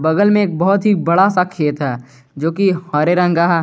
बगल में एक बहुत ही बड़ा सा खेत है जोकि हरे रंग का है।